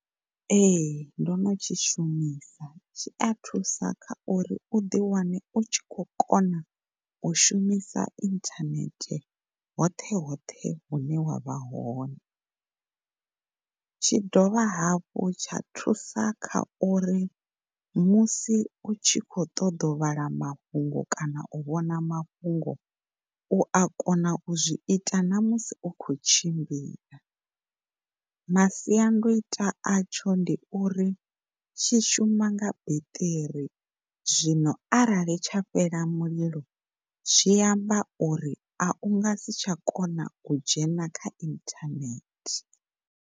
Ehe, ndo no tshishumisa tshi a thusa kha uri ḓiwane u tshi kho kona u shumisa inthanethe hoṱhe hoṱhe hune wavha hone tshi dovha hafhu tsha thusa kha uri musi u tshi khou ṱoḓa u vhala mafhungo kana u vhona mafhungo u a kona u zwi ita na musi u khou tshimbila. Masiandoitwa a tsho ndi uri tshi shuma nga beṱiri zwino arali tsha fhela mulilo zwi amba uri unga si tsha kona u dzhena kha inthanethe.